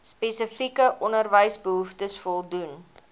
spesifieke onderwysbehoeftes voldoen